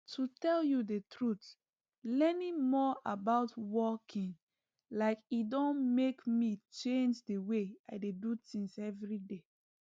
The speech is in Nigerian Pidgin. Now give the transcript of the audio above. to tell you the truth learning more about walking like e don make me change the way i dey do things everyday